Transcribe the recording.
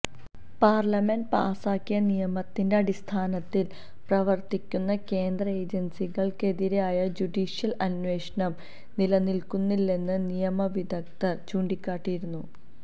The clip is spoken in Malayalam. പാര്ലമെന്റ് പാസാക്കിയ നിയമത്തിന്റെ അടിസ്ഥാനത്തില് പ്രവര്ത്തിക്കുന്ന കേന്ദ്ര ഏജന്സികള്ക്കെതിരായ ജുഡീഷ്യല് അന്വേഷണം നിലനില്ക്കില്ലെന്ന് നിയമ വിദഗ്ധര് ചൂണ്ടിക്കാട്ടിയിരുന്നു